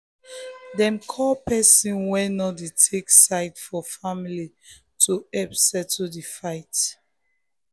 dem call person wey no dey take side for family to help settle di fight.